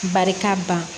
Barika ban